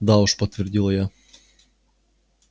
да уж подтвердила я